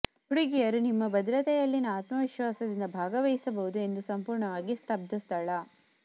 ಹುಡುಗಿಯರು ನಿಮ್ಮ ಭದ್ರತೆಯಲ್ಲಿನ ಆತ್ಮವಿಶ್ವಾಸದಿಂದ ಭಾಗವಹಿಸಬಹುದು ಎಂದು ಸಂಪೂರ್ಣವಾಗಿ ಸ್ತಬ್ಧ ಸ್ಥಳ